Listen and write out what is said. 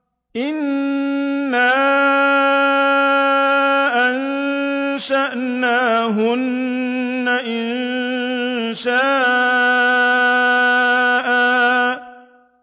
إِنَّا أَنشَأْنَاهُنَّ إِنشَاءً